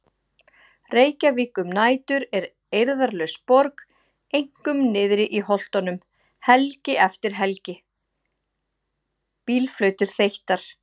Reykjavík um nætur er eirðarlaus borg, einkum niðri í Holtunum- helgi eftir helgi: Bílflautur þeyttar.